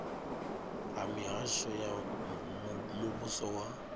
ha mihasho ya muvhuso wa